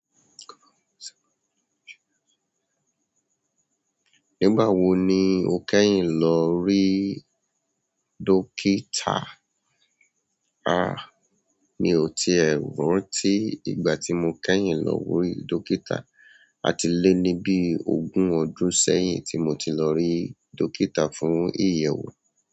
Nígbà wo ni o kẹ́yìn lọ rí dókítà? A, mi ò tí e rántí ìgbà tí mo kẹ́yìn lọ wí dókítà. A ti lé ní bí ogún ọdún sẹ́yìn tí mo ti lọ rí dókítà fún ìyewó.